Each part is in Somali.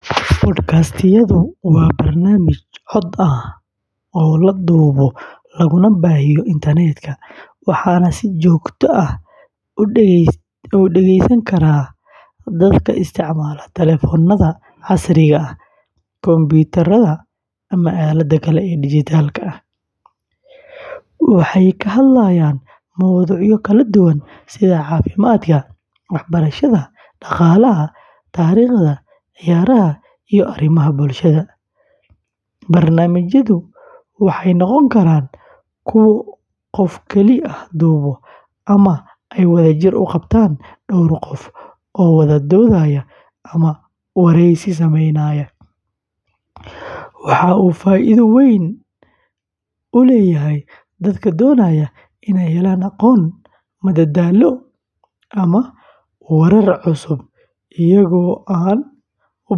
Podcast-yadu waa barnaamij cod ah oo la duubo laguna baahiyo internet-ka, waxaana si joogto ah u dhegeysan kara dadka isticmaala taleefannada casriga ah, kumbuyuutarrada, ama aaladaha kale ee dijitaalka ah. Podcast-yadu waxay ka hadlayaan mowduucyo kala duwan sida caafimaadka, waxbarashada, dhaqaalaha, taariikhda, ciyaaraha, iyo arrimaha bulshada. Barnaamijyadu waxay noqon karaan kuwo qof keli ah duubo ama ay wadajir u qabtaan dhowr qof oo wada doodaya ama wareysi sameynaya. Waxa uu faa’iido weyn u leeyahay dadka doonaya inay helaan aqoon, madadaalo, ama warar cusub iyagoo aan u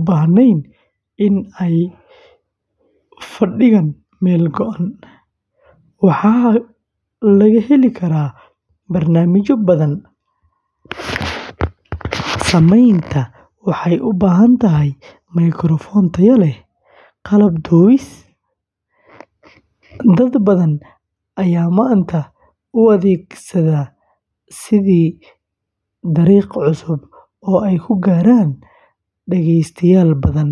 baahnayn in ay fadhigaan meel go’an. Podcast-yada waxaa laga heli karaa barnaamijyo badan. Samaynta waxay u baahan tahay mikrafoon tayo leh, qalab duubis, iyo wax lagu tafatiro. Dad badan ayaa maanta u adeegsada sidii dariiq cusub oo ay ku gaaraan dhagaystayaal badan.